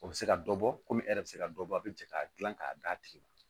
O bɛ se ka dɔ bɔ kɔmi e yɛrɛ bɛ se ka dɔ bɔ a bɛ jɛ k'a gilan k'a d'a tigi ma